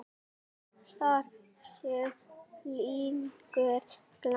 Þar séu línur lagðar.